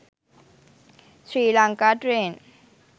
sri lanka train